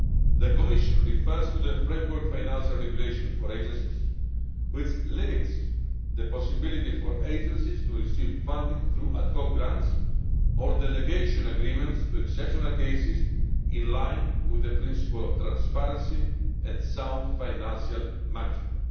The Commission refers to the Framework Financial Regulation for agencies, which limits the possibility for agencies to receive funding through ad hoc grants or delegation agreements to exceptional cases, in line with the principle of transparency and sound financial management.'